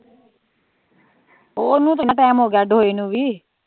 ਓਹਨੂੰ ਕਿੰਨਾ ਟੈਮ ਹੋਗਿਆ ਅੱਡ ਹੋਈ ਨੂੰ ਵੀ